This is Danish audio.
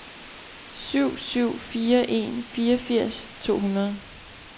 syv syv fire en fireogfirs to hundrede